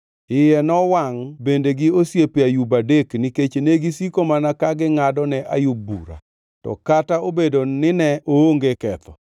Iye nowangʼ bende gi osiepe Ayub adek nikech negisiko mana ka gingʼado ne Ayub bura, to kata obedo nine oonge ketho.